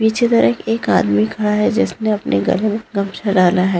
नीचे तरफ एक आदमी खड़ा है जिसने अपने गले में गमछा डाला है।